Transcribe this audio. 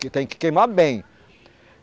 Que tem que queimar bem.